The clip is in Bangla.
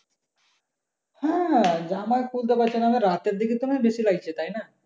হ্যাঁ জামাই খুলতে পারছিনা আবার রাতের দিকে তো বেশি লাগছে তাইনা?